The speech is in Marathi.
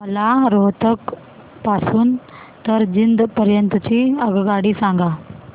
मला रोहतक पासून तर जिंद पर्यंत ची आगगाडी सांगा